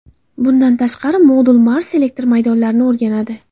Bundan tashqari, modul Mars elektr maydonlarini o‘rganadi.